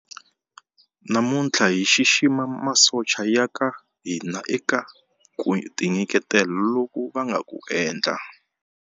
Namuntlha hi xixima masocha ya ka hina eka ku tinyiketela loku va nga ku endla.